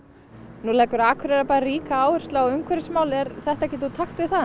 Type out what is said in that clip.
nú leggur Akureyrarbær ríka áherslu á umhverfismál er þetta ekkert úr takti við það